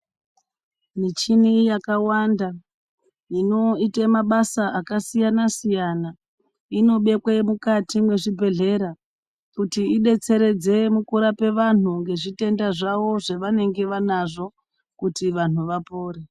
Michini yakawanda inoite mabasa akasiyana siyana inobekwe mukati mwezvibhedhlera kuti idetseredze mukurape vantu ngezvitenda zvavo zvevanenge vanazvo kuti vantu vapore.